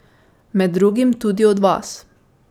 Med drugim tudi od vas.